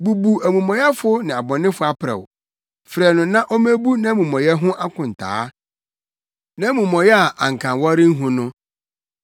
Bubu omumɔyɛfo ne ɔbɔnefo aprɛw; frɛ no na ommebu nʼamumɔyɛ ho nkontaa, nʼamumɔyɛ a anka wɔrenhu no.